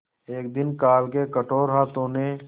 एक दिन काल के कठोर हाथों ने